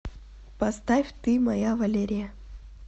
поставь ты моя валерия